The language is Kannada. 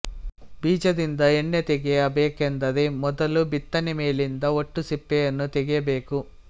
ಬೀಜದಿಂದ ಎಣ್ಣೆತೆಗೆಯ ಬೇಕೆಂದರೆ ವೊದಲು ಬಿತ್ತನೆ ಮೇಲಿದ್ದ ಹೋಟ್ಟುಸಿಪ್ಪೆ ಯನ್ನು ತೆಗೆಯಬೇಕು